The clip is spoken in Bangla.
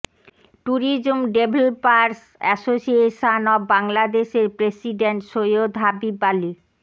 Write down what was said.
ট্যুরিজম ডেভলপারস অ্যাসোসিয়েশন অব বাংলাদেশের প্রেসিডেন্ট সৈয়দ হাবিব আলী